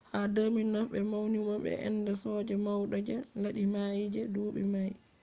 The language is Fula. ha 2009 be maunimo be ende soja maudo je laddi mai je dubi mai